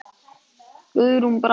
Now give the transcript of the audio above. Guðrún Brá.